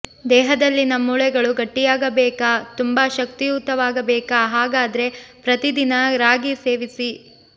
ದೇಹದಲ್ಲಿನ ಮೂಳೆಗಳು ಗಟ್ಟಿಯಾಗಬೇಕಾ ತುಂಬಾ ಶಕ್ತಿಯುತವಾಗಬೇಕಾ ಹಾಗದ್ರೇ ಪ್ರತಿ ದಿನ ರಾಗಿ ಸೇವಿಸಿ